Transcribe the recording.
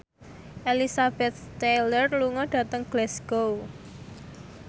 Elizabeth Taylor lunga dhateng Glasgow